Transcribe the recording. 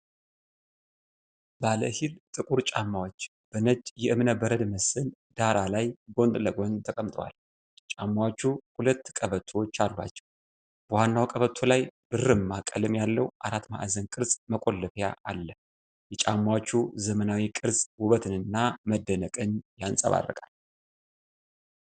ባለሂል ጥቁር ጫማዎች፣ በነጭ የእብነበረድ መሰል ዳራ ላይ ጎን ለጎን ተቀምጠዋል። ጫማዎቹ ሁለት ቀበቶዎች አሏቸው፤ በዋናው ቀበቶ ላይ ብርማ ቀለም ያለው አራት ማዕዘን ቅርጽ መቆለፊያ አለ። የጫማዎቹ ዘመናዊ ቅርፅ ውበትን እና መደነቅን ያንፀባርቃል።